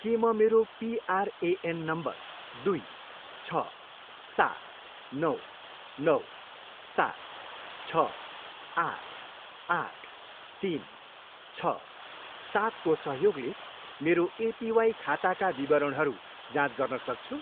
के म मेरो पिआरएएन नम्बर दुई, छ, सात, नौ, नौ, सात, छ, आठ, आठ, तिन, छ, सातको सहयोगले मेरो एपिवाई खाताका विवरणहरू जाँच गर्न सक्छु?